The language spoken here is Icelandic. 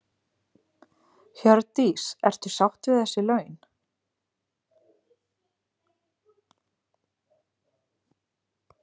Hjördís: Ertu sátt við þessi laun?